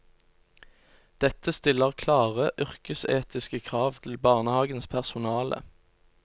Dette stiller klare yrkesetiske krav til barnehagens personale.